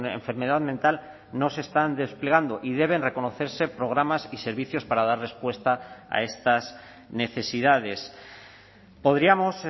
enfermedad mental no se están desplegando y deben reconocerse programas y servicios para dar respuesta a estas necesidades podríamos